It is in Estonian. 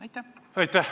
Aitäh!